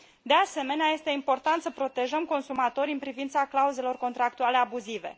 De asemenea, este important să protejăm consumatorii în privința clauzelor contractuale abuzive.